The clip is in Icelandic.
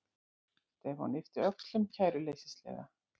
Stefán yppti öxlum kæruleysislega.